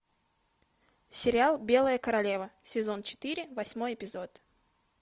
сериал белая королева сезон четыре восьмой эпизод